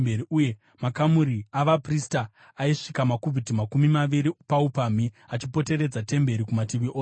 Uye makamuri avaprista aisvika makubhiti makumi maviri paupamhi achipoteredza temberi kumativi ose.